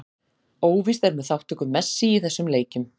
Óvíst er með þátttöku Messi í þessum leikjum.